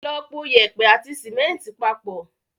Lọ po yèèpẹ̀ àti símẹ́ńtì papọ̀.